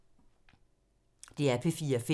DR P4 Fælles